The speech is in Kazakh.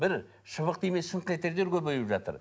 бір шыбық тимес шыңқ етерлер көбейіп жатыр